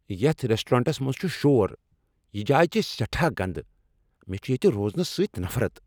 یتھ ریسٹورنٹس منٛز چھ شور، یہ جاے چھےٚ سیٹھاہ گندٕ، مےٚ چھےٚ ییٚتہ روزنس سۭتۍ نفرت۔